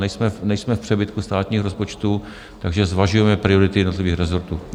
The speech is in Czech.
Nejsme v přebytku státního rozpočtu, takže zvažujeme priority jednotlivých rezortů.